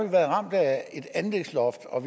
været ramt af et anlægsloft og